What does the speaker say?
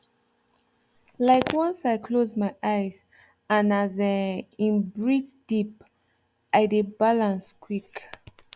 like once i close my eyes and as um in breathe deep i dey balance quick